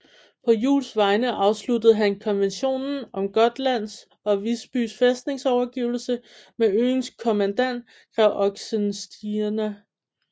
På Juels vegne afsluttede han konventionen om Gotlands og Visby Fæstnings overgivelse med øens kommandant grev Oxenstierna